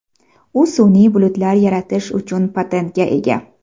U sun’iy bulutlar yaratish uchun patentga ega.